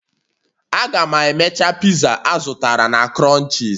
Aga m emecha pizza a m zụtara na crunches